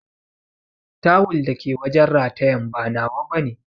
Tawul dake wajen ratayan ba nawa bane.